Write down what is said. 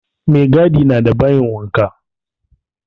Maigadi na da bayin wanka